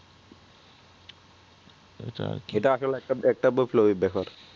একটা একটা দেখাক